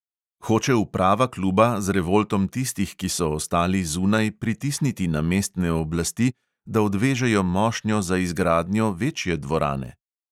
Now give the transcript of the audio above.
Hoče uprava kluba z revoltom tistih, ki so ostali zunaj, pritisniti na mestne oblasti, da odvežejo mošnjo za izgradnjo večje dvorane?